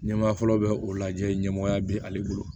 Ɲɛmaa fɔlɔ bɛ o lajɛ ale bolo